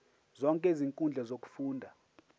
zonke izinkundla zokufunda